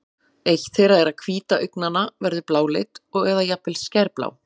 eitt þeirra er að hvíta augnanna verður bláleit eða jafnvel skærblá